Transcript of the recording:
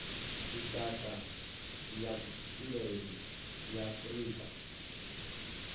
lushaka ya vhupileli ya afurika